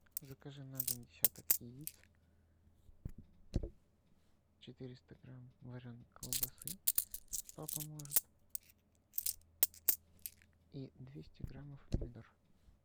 закажи на дом десяток яиц четыреста грамм вареной колбасы папа может и двести граммов помидор